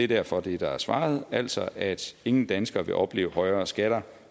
derfor det der er svaret altså at ingen danskere vil opleve højere skatter